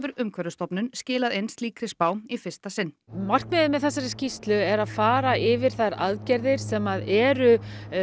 Umhverfisstofnun skilað inn slíkri spá í fyrsta sinn markmiðið með þessari skýrslu er að fara yfir þær aðgerðir sem eru